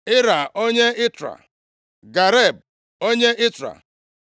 Ira, onye Itra, Gareb, onye Itra